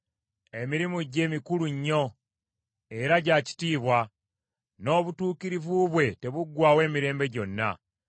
Emirimu gye mikulu nnyo era gya kitiibwa, n’obutuukirivu bwe tebuggwaawo emirembe gyonna.